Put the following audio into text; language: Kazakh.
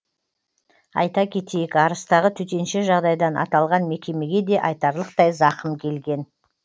айта кетейік арыстағы төтенше жағдайдан аталған мекемеге де айтарлықтай зақым келген